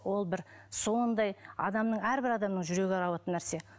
ол бір сондай адамның әрбір адамның жүрегі ауыратын нәрсе